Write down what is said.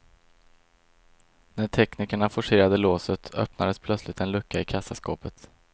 När teknikerna forcerade låset, öppnades plötsligt en lucka i kassaskåpet.